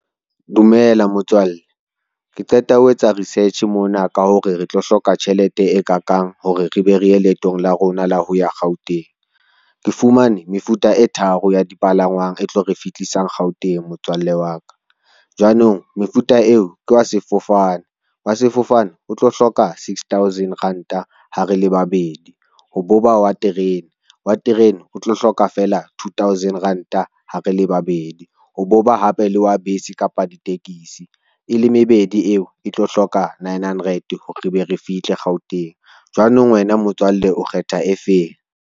Dumela motswalle, ke qeta ho etsa research mona ka hore re tlo hloka tjhelete e kakang hore re be re ye leetong la rona la ho ya Gauteng. Ke fumane mefuta e tharo ya dipalangwang e tlo re fihlisang Gauteng motswalle wa ka. Jwanong mefuta eo ke wa sefofane, wa sefofane o tlo hloka sixthousand ranta ha re le babedi, ho bo ba wa terene, wa terene o tlo hloka fela twothousand ranta ha re le babedi, ho bo ba hape le wa bese kapa ditekesi e le mebedi eo e tlo hloka nine hundred hore re be re fihle Gauteng jwanong wena motswalle o kgetha efeng?